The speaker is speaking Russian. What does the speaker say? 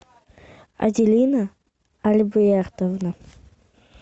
аделина альбертовна